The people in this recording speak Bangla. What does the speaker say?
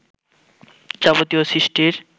যাবতীয় সৃষ্টির